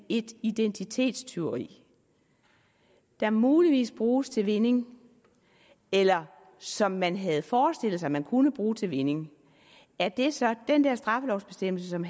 et identitetstyveri der muligvis bruges til vinding eller som man havde forestillet sig man kunne bruge til vinding er det så den straffelovsbestemmelse som